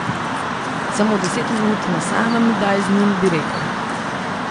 Samo deset minut na samem mi daj z njim, bi rekel.